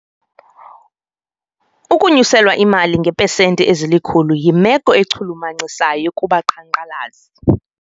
Ukunyuselwa imali ngeepesenti ezilikhulu yimelo echulumachisayo kubaqhankqalazi.